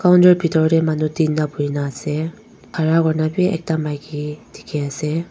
counter bitor de manu tinta buhi na ase khara kuri na b ekta maiki dikhi ase.